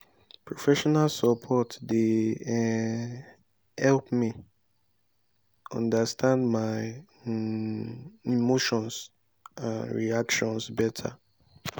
professional support dey um help me understand my um emotions and reactions better.